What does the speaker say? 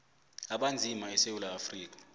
abanzima esewula afrika